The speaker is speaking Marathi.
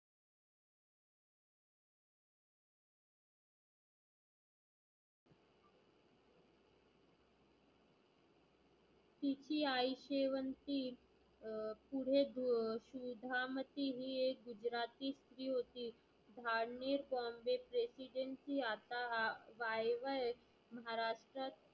तिची आई शेवंती अं पुढे धु सुधामती ही एक जुगराती स्त्री होती. धार्मिक bombay president आता हा वायवा महाराष्ट्रा